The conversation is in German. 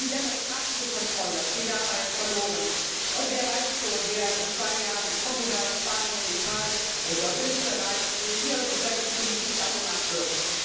Die demokratische Kontrolle geht dabei verloren, und wer weiß schon, wer in zwei Jahren in Portugal, Spanien, Italien oder Österreich regiert und welche Politik dann gemacht wird.